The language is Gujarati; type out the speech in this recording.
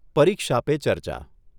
પરીક્ષા પે ચર્ચા